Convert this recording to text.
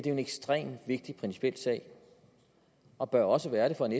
en ekstremt vigtig principiel sag og bør også være det for en